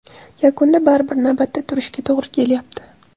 Yakunda baribir navbatda turishga to‘g‘ri kelyapti.